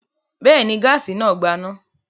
Bẹ́ẹ̀ ni, gáásì náà gbaná.